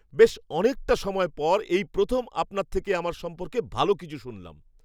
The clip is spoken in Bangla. বেশ অনেকটা সময়ের পর এই প্রথম আপনার থেকে আমার সম্পর্কে ভালো কিছু শুনলাম!